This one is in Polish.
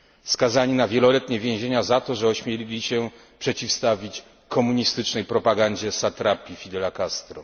skazani na wieloletnie więzienie za to, że ośmieli się przeciwstawić komunistycznej propagandzie satrapii Fidela Castro.